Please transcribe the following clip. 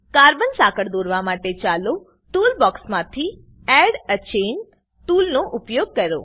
carbon સાંકળ દોરવા માટે ચાલો ટૂલ બોક્ક્ષ માંથી એડ એ ચેઇન ટૂલનો ઉપયોગ કરો